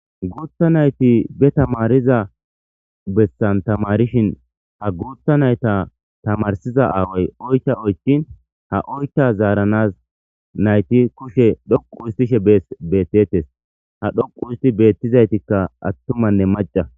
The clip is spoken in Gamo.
Guutha nayti be tamaariza bessan tamaarishin ha guutha nayta tamarsiza aaway oycha oychin ha oycka zaaranas nayti kushe dhoqusttishe beettetes. Ha dhoqustti beettizaytikka attumanne macca